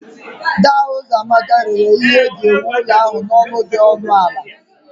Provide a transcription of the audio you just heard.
Daa Uzoamaka rere ya ihe eji ewu ụlọ ahụ n'ọnụ dị ọnụ ala